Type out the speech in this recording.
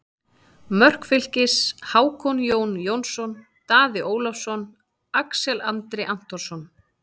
Mörk Fylkis: Hákon Ingi Jónsson, Daði Ólafsson, Axel Andri Antonsson